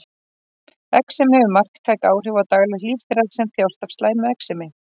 Exem hefur marktæk áhrif á daglegt líf þeirra sem þjást af slæmu exemi.